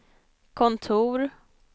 kontor